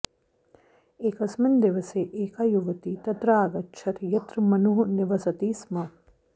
एकस्मिन् दिवसे एका युवती तत्र आगच्छत् यत्र मनुः निवसति स्म